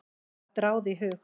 Mér datt þá ráð í hug.